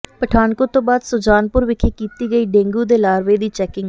ਪਠਾਨਕੋਟ ਤੋਂ ਬਾਅਦ ਸੁਜਾਨਪੁਰ ਵਿਖੇ ਕੀਤੀ ਗਈ ਡੇਂਗੂ ਦੇ ਲਾਰਵੇ ਦੀ ਚੈਕਿੰਗ